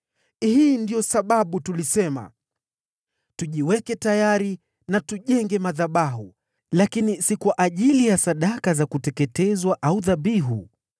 “Hii ndiyo sababu tulisema, ‘Tujiweke tayari na tujenge madhabahu, lakini si kwa ajili ya sadaka za kuteketezwa au dhabihu.’